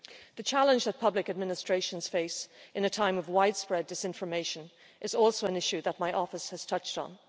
The challenge that public administrations face in a time of widespread disinformation is also an issue that my office has touched on.